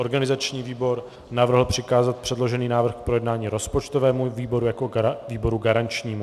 Organizační výbor navrhl přikázat předložený návrh k projednání rozpočtovému výboru jako výboru garančnímu.